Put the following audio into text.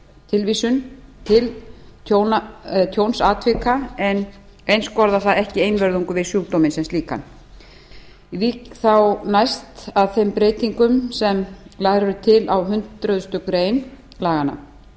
tilvísun til tjónsatvika en einskorða það ekki einvörðungu við sjúkdóminn sem slíkan ég vík þá næst að þeim breytingum sem lagðar eru til á hundrað greinar laganna